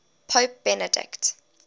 pope benedict